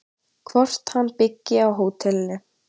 Hvort hann byggi á hótelinu?